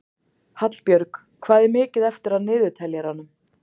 Hallbjörg, hvað er mikið eftir af niðurteljaranum?